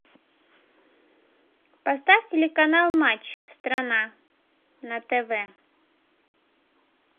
поставь телеканал матч страна на тв